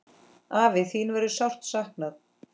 Afi, þín verður sárt saknað.